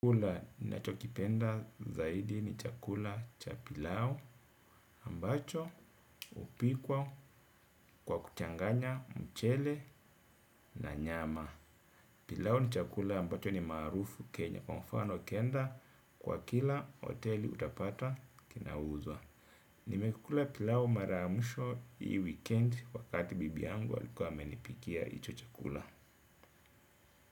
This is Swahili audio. Chakula ninachokipenda zaidi ni chakula cha pilau ambacho hupikwa kwa kuchanganya mchele na nyama. Pilau ni chakula ambacho ni maarufu Kenya kwa mfano ukienda kwa kila hoteli utapata kinauzwa. Nimekula pilau mara ya mwisho hii wikiendi wakati bibi yangu alikuwa amenipikia hicho chakula.